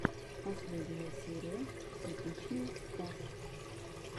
последняя серия типичный стас